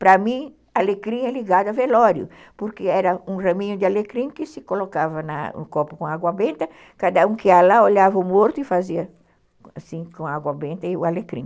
Para mim, alecrim é ligado a velório, porque era um raminho de alecrim que se colocava na num copo com água benta, cada um que ia lá olhava o morto e fazia assim com água benta e o alecrim.